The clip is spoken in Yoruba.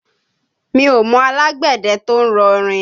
Mi ò mọ alágbẹ̀dẹ tó ń rọ rìn.